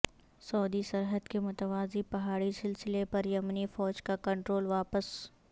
سعودی سرحد کے متوازی پہاڑی سلسلے پر یمنی فوج کا کنٹرول واپس